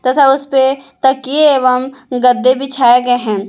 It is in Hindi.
तथा उसपे तकिए एवं गद्दे बिछाए गए हैं।